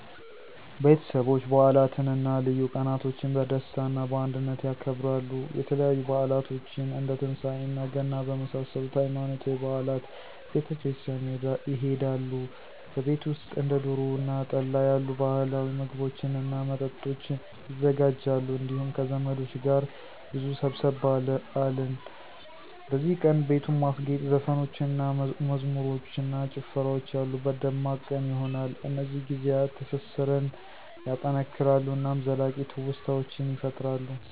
ቤተሰቦች በዓላትን እና ልዩ ቀናቶችን በደስታ እና በአንድነት ያከብራሉ። የተለያዩ በዓላቶችን እንደ ትንሳኤ እና ገና በመሳሰሉት ሃይማኖታዊ በዓላት ቤተ ክርስቲያን ይሆዳሉ። በቤት ውሰጥም እንደ ዶሮ እና ጠላ ያሉ ባህላዊ ምግቦችን እና መጠጦች ይዘጋጃሉ እንዲሁም ከዘመዶች ጋር ብዙ ሰብሰብ አለ። በዚህ ቀን, ቤቱን ማስጌጥ, ዘፈኖችን እና መዝሙሮች እና ጨፍራወች ያሉበት ደማቅ ቀን ይሆነል። እነዚህ ጊዜያት ትስሰራን ያጠናክራሉ እናም ዘላቂ ትውስታዎችን ይፈጥራሉ።